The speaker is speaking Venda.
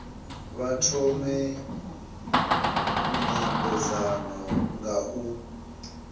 vha thome nymbedzano nga u